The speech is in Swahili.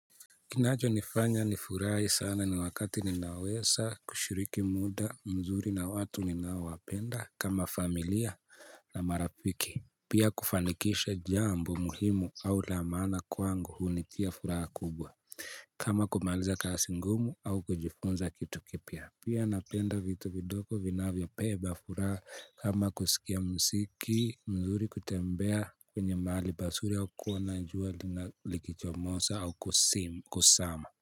Kinachonifanya nifurai sana ni wakati ninawesa kushiriki muda mzuri na watu ninaowapenda kama familia na marapiki. Pia kufanikisha jambo muhimu au la maana kwangu hunitia furaha kubwa. Kama kumaliza kasi ngumu au kujifunza kitu kipya. Pia napenda vitu vidoko vinavyopeba fura kama kusikia msiki mzuri kutembea kwenye mahali pasuri au kuona jua lina likichomosa au kusim kusama.